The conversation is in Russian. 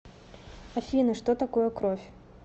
афина что такое кровь